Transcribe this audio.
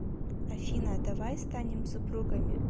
афина давай станем супругами